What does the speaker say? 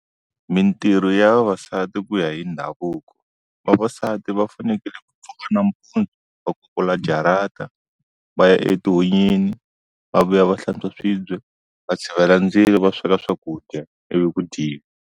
Mintirho ya vavasati ku ya hi ndhavuko. Vavasati va fanekele ku pfuna nampundzu va kukula jarata, va ya etihunyini, va vuya va hlantswa swibye, va tshovela ndzilo va sweka swakudya ivi ku dyiwa.